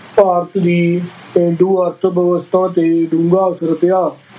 ਭਾਰਤ ਦੀ ਪੇਂਡੂ ਅਰਥ ਵਿਵਸਥਾ ਤੇ ਡੂੰਘੇ ਅਸਰ ਪਿਆ।